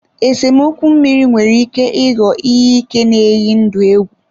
Esemokwu mmiri nwere ike ịghọ ihe ike na-eyi ndụ egwu.